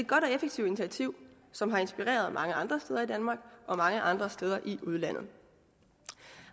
godt og effektivt initiativ som har inspireret mange andre steder i danmark og mange andre steder i udlandet